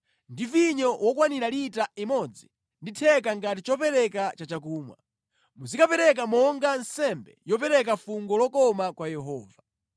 ndi vinyo wokwanira lita imodzi ndi theka ngati chopereka cha chakumwa. Muzikapereka monga nsembe yopereka fungo lokoma kwa Yehova.